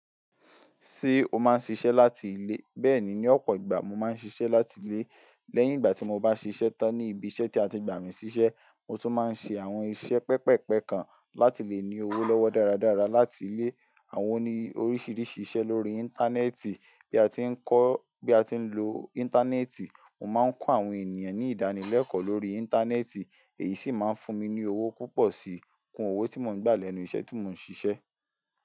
Ṣé o máa ń ṣiṣẹ́ láti ilé? Bẹ́ẹ̀ni, ní ọ̀pọ̀ ìgbà mo máa ń ṣiṣẹ́ láti ilé. Lẹ́yìn ìgbà tí mo bá ṣiṣẹ́ tán ní ibi iṣẹ́ tí a ti gbà mí ṣíṣẹ́, mo tún máa ń ṣe àwọn iṣẹ́ pẹpẹpẹ kan láti lè ní owó lọ́wọ́ dáradára láti ilé. Àwọn ni oríṣiríṣi iṣẹ́ lórí Íńtánẹ́ẹ̀tì. Bí a ti ń kọ́, bí a ti ń lo Íńtánẹ́ẹ̀tì, mo máa ń kọ́ àwọn ènìyàn ní ìdánilẹ́kọ̀ọ́ lórí Íńtánẹ́ẹ̀tì, èyí sì máa ń fún mi ní owó púpọ̀ sí kún owó tí mo ń gbà lẹ́nu iṣẹ́ tí mo ń ṣiṣẹ́.